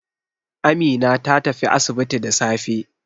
Amina ta tafi asibiti da safe.